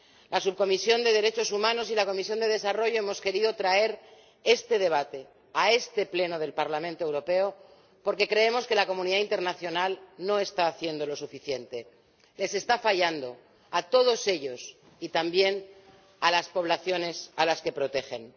La Subcomisión de Derechos Humanos y la Comisión de Desarrollo hemos querido traer este debate a este Pleno del Parlamento Europeo porque creemos que la comunidad internacional no está haciendo lo suficiente les está fallando a todos ellos y también a las poblaciones que protegen.